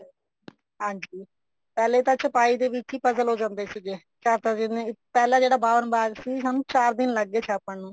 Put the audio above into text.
ਹਾਂਜੀ ਪਹਿਲੇ ਤਾਂ ਛਪਾਈ ਦੇ ਵਿੱਚ ਹੀ puzzle ਹੋ ਜਾਂਦੇ ਸੀਗੇ ਛਾਪਣ ਆਲੇ ਪਹਿਲਾਂ ਜਿਹੜਾ ਬਾਵਣ ਬਾਗ ਸੀ ਚਾਰ ਦਿਨ ਲੱਗ ਗਏ ਛਾਪਣ ਨੂੰ